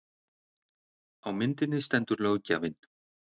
Á myndinni stendur löggjafinn